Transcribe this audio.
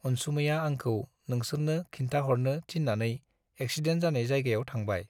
अनसुमैया आंखौ नोंसोरनो खिन्थाहरनो थिन्नानै एक्सिडेन्ट जानाय जायगायाव थांबाय।